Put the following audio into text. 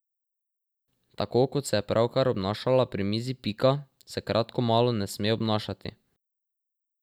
Tako kot se je pravkar obnašala pri mizi Pika, se kratkomalo ne sme obnašati.